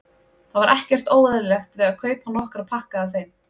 Það var ekkert óeðlilegt við að kaupa nokkra pakka af þeim.